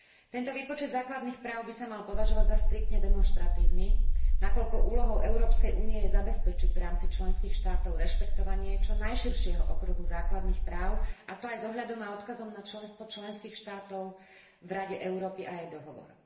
Tento výpočet základných práv by sa mal považovať za striktne demonštratívny, nakoľko úlohou Európskej únie je zabezpečiť v rámci členských štátov rešpektovanie čo najširšieho okruhu základných práv, a to aj s ohľadom a odkazom na členstvo členských štátov v Rade Európy a jej dohovor.